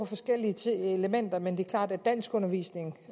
forskellige elementer men det er klart at danskundervisning